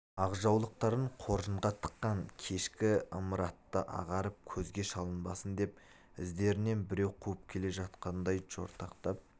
ақ жаулықтарын қоржынға тыққан кешкі ымыратта ағарып көзге шалынбасын деп іздерінен біреу қуып келе жатқандай жортақтап